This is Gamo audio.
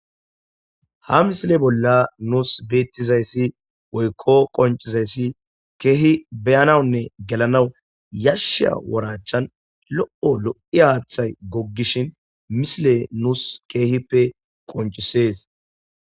Ha misile bolla beettizaysi woykko qonccizaysi keehi be'anawnne gelanaw yashiya wora achan lo'o lo'iya haathay goggishe misile nus keehippe qonccisses.